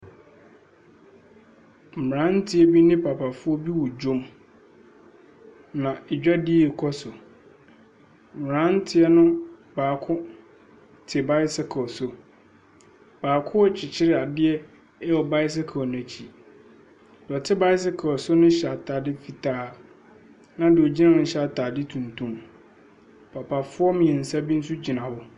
Mmeranteɛ bi ne papafoɔ bi wɔ dwam, na dwadie rekɔ so. Mmeranteɛ no baako te bicycle so. Baako rekyekyere adeɛ wɔ bicycle no akyi. Deɛ ɔte bicycle so no hyɛ atade fitaa, ɛnna deɛ ɔgyina hɔ no hyɛ atade tuntum. Papafoɔ mmeɛnsa bi nso gyina hɔ.